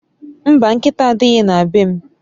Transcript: Mba, nkita adighi na be m